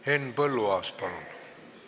Henn Põlluaas, palun!